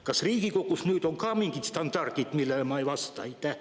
Kas Riigikogus on ka mingid standardid, millele ma ei vasta?